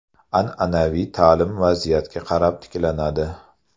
An’anaviy ta’lim vaziyatga qarab tiklanadi.